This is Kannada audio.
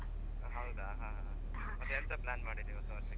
ಹೌದಾ ಹಾ ಹಾ ಮತ್ತೆ ಎಂತ plan ಮಾಡಿದ್ದಿ ಹೊಸ ವರ್ಷಕ್ಕೆ.